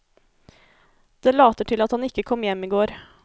Det later til at han ikke kom hjem i går.